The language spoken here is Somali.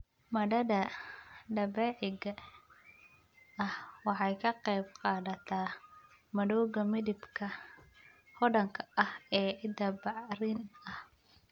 Maaddada dabiiciga ahi waxay ka qayb qaadataa madowga, midabka hodanka ah ee ciidda bacrin ah.